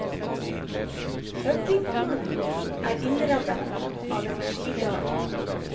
Høvdinghulen er innrammet av en skigard.